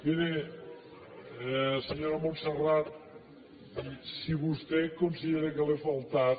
miri senyora montserrat si vostè considera que jo li he faltat